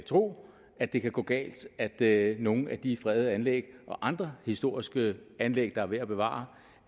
tro at det kan gå galt at nogle af de fredede anlæg og andre historiske anlæg der er værd at bevare